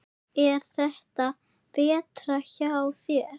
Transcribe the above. Er þetta betra hjá þér?